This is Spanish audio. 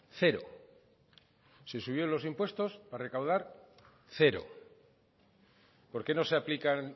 cero se subió los impuestos para recaudar cero por qué no se aplican